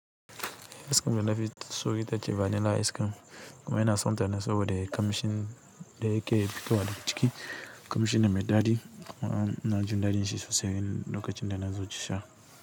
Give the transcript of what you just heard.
Ice cream dana danafiso, ita ce vanilla ice cream kuma ina sonta ne sabode ƙamshin da yake fitowa daga ciki. Ƙamshi ne mai daɗi kuma inajin daɗin shi sosai lokacin da nazo sha.